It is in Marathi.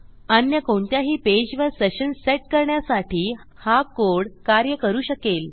अन्य कोणत्याही पेजवर सेशन सेट करण्यासाठी हा कोड कार्य करू शकेल